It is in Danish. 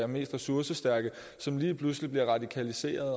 mest ressourcestærke som lige pludselig bliver radikaliseret